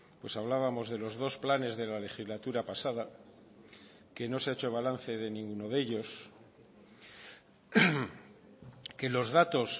pues hablábamos de los dos planes de la legislatura pasada que no se ha hecho balance de ninguno de ellos que los datos